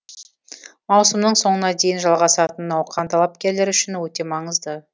маусымның соңына дейін жалғасатын науқан талапкерлер үшін өте маңызды